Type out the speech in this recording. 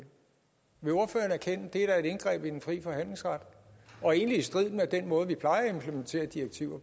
vil ordføreren erkende at det er et indgreb i den frie forhandlingsret og egentlig i strid med den måde vi plejer at implementere direktiver